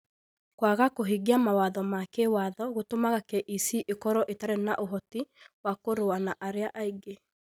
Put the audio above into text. Kwaga kũhingia mawatho ma kĩĩwatho gũtũmaga KEC ĩkorũo ĩtarĩ na ũhoti wa kũrũa na arĩa angĩ.